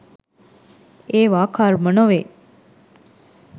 ඒවා කර්ම නොවේ.